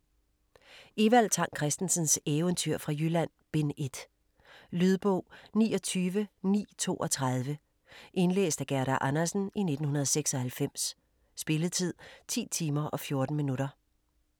Evald Tang Kristensens Eventyr fra Jylland: Bind 1 Lydbog 29932 Indlæst af Gerda Andersen, 1996. Spilletid: 10 timer, 14 minutter.